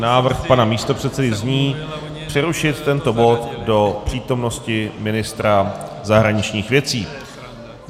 Návrh pana místopředsedy zní: přerušit tento bod do přítomnosti ministra zahraničních věcí.